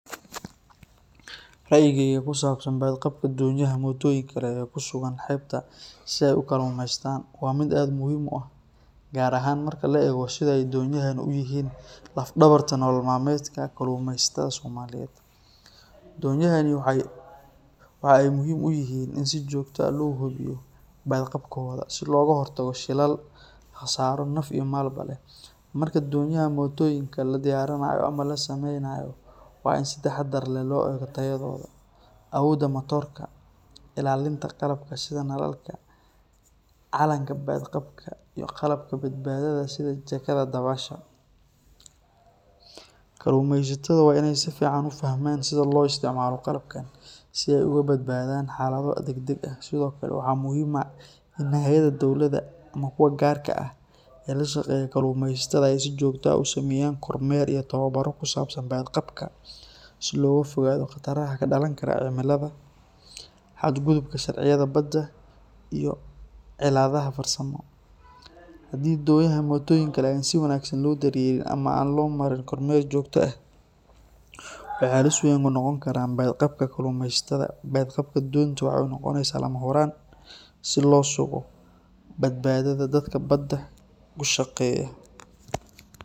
Rayigeyka kusabsan badqabka donyaha motoyinka ee kusuga hebta, si ay ukalumestan wa mid aad muxiim u ah , gaar ahan marki laego siday donyahan uyixiin lafdawarta kalumeysatada somaliyed, donuahan waxay muxiim uyixiin in si joogta ah lohubiyo badqabkoda lagahortago shilalka, qasaro naf iyo malbo leh, marka donyaha motoyinka ladoyarinayo ama lasameynayo wa in si tahadar leh loilaliyo tayadoda, awoda matorka, ilalinta qalabka shidalka, iyo nalalka, calanka badqabka iyo qalabka badbadada sidha jakada dabasha, kalumeysatada wa in ay sifican ufahman sidha loisticmalo qalabkan si ay ogabadbadan xalado dagdag ah, Sidhokale waxa muxiim ah dinacyada dowlada ama kuwa gaarka ah ee lashageyo kalumeysata ay si jogto ah usameyankormer iyo tawabaro kusabsan badqabka, si logafogado qataraha kadalan karaa cimilada, haad gudumka sharviyada badaa iyo ciladaha farsamo, hadhii donyaha motoyinka leh si wanagsan lodaryelin ama an lomatin kormel jogto ah, wahalis weyn unogon karan baad qabka kalumeysatada badqabka donta waxa nogoneysa lamahuran, si losugo badbadada dadka badaa ushageya.